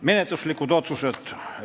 Menetluslikud otsused olid järgmised.